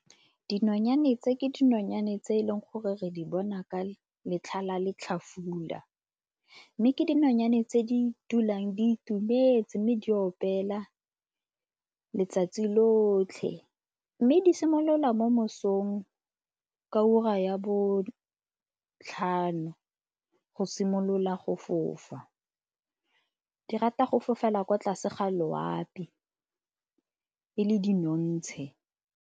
Dinonyane tse ke dinonyane tse e leng gore re di bona ka letlha la letlhafula mme ke dinonyane tse di dulang di itumetse mme di opela letsatsi lotlhe. Mme di simolola mo mosong ka ura ya botlhano go simolola go fofa. Di rata go fofela kwa tlase ga loapi e le di .